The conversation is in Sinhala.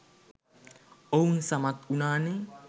ඔවුන් සමත් වුණානේ.